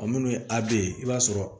A minnu ye a bɛ ye i b'a sɔrɔ